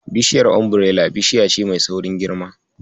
Bishiyar Umbirela bishiya ce mai saurin girma.